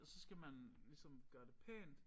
Og så skal man ligesom gøre det pænt